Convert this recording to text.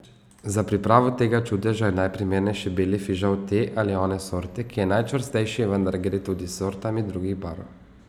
Za pripravo tega čudeža je najprimernejši beli fižol te ali one sorte, ki je najčvrstejši, vendar gre tudi s sortami drugih barv.